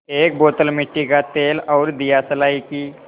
एक बोतल मिट्टी का तेल और दियासलाई की